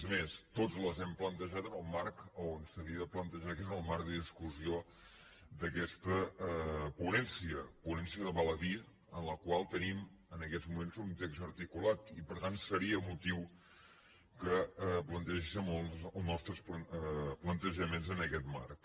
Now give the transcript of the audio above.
és més tots les hem plantejades en el marc a on s’havia de plantejar que és el marc de discussió d’aquesta ponència ponència val a dir ho en la qual tenim en aquests moments un text articulat i per tant seria motiu que plantegéssim els nostres plantejaments en aquest marc